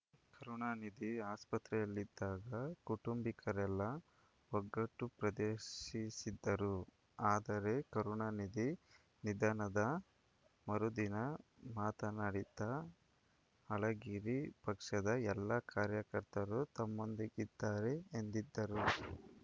ಕರುಣಾನಿಧಿ ಆಸ್ಪತ್ರೆಯಲ್ಲಿದ್ದಾಗ ಕುಟುಂಬಿಕರೆಲ್ಲ ಒಗ್ಗಟ್ಟು ಪ್ರದರ್ಶಿಸಿದ್ದರು ಆದರೆ ಕರುಣಾನಿಧಿ ನಿಧನದ ಮರುದಿನ ಮಾತನಾಡಿದ್ದ ಅಳಗಿರಿ ಪಕ್ಷದ ಎಲ್ಲ ಕಾರ್ಯಕರ್ತರು ತಮ್ಮೊಂದಿಗಿದ್ದಾರೆ ಎಂದಿದ್ದರು